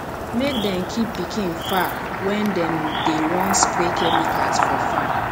make dem keep pikin far when dem dey wan spray chemicals for farm